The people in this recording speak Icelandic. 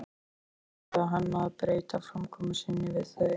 En ekki ætlaði hann að breyta framkomu sinni við þau.